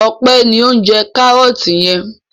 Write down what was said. Ọpẹ́ ni ó ń jẹ kárọ́tì yẹn.